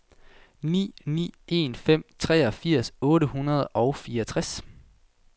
ni ni en fem treogfirs otte hundrede og fireogtres